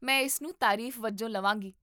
ਮੈਂ ਇਸ ਨੂੰ ਤਾਰੀਫ਼ ਵਜੋਂ ਲਵਾਂਗੀ